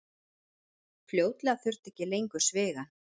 Fljótlega þurfti ekki lengur svigann.